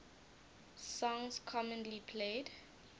songs commonly played